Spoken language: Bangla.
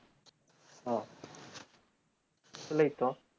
ও তালেই তো